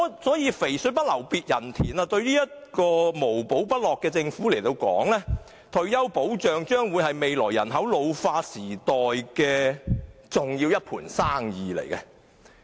所謂"肥水不流別人田"。對於這個無寶不落的政府而言，退休保障是未來人口老化時的一盤大生意。